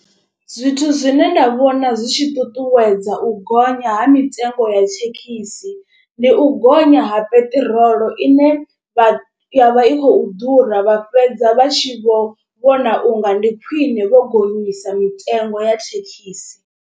Zwithu zwine nda vhona zwi tshi ṱuṱuwedza u gonya ha mitengo ya thekhisi. Ndi u gonya ha peṱirolo ine vha ya vha i khou ḓura vha fhedza vha tshi vho vhona unga ndi khwine vho gonyisa mitengo ya thekhisi.